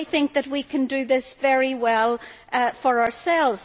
I think that we can do this very well for ourselves.